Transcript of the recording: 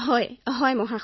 Aparna হয়মহোদয়